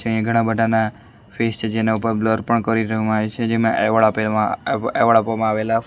તે ઘણા બધાના ફેસ છે જેના ઉપર બ્લર પણ કરી દેવામાં આવ્યું છે જેમાં એવોર્ડ આપવામાં આવેલા.